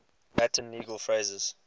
latin legal phrases